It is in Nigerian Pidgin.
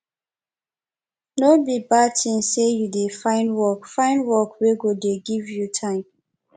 no be bad tin sey you dey find work find work wey go dey give you time